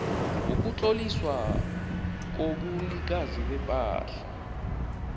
wokutloliswa kobunikazi bepahla